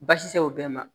Baasi te se o bɛɛ ma